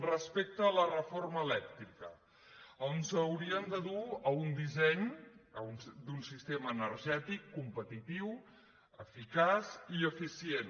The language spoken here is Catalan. respecte a la reforma elèctrica ens haurien de dur a un disseny d’un sistema energètic competitiu eficaç i eficient